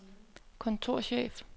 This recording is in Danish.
kontorchef